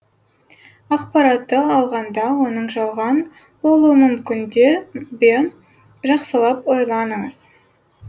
ақпаратты алғанда оның жалған болуы мүмкін де бе жақсылап ойланыңыз